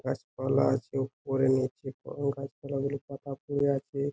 কাছ কলা আছে উপরে নিচে কং কাছ কলাগুলির পাতা পরে আছে ।